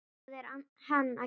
Hvað er hann að gera?